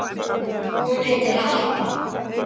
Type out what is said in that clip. Hún heitir Harpa.